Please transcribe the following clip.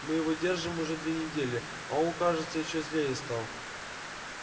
мы его держим уже две недели а он кажется ещё злее стал